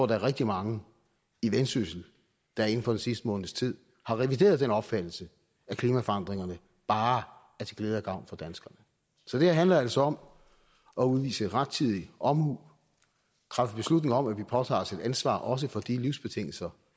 der er rigtig mange i vendsyssel der inden for den sidste måneds tid har revideret den opfattelse af at klimaforandringerne bare er til glæde og gavn for danskerne så det her handler altså om at udvise rettidig omhu træffe beslutning om at vi påtager os et ansvar også for de livsbetingelser